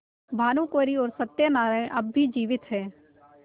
भानुकुँवरि और सत्य नारायण अब भी जीवित हैं